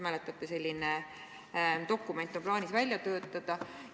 Mäletate, selline dokument on plaanis välja töötada.